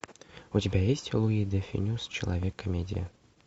у тебя есть луи де фюнес человек комедия